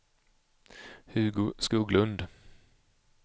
Hugo Skoglund